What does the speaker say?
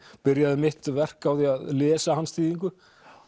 byrjaði mitt verk á því að lesa hans þýðingu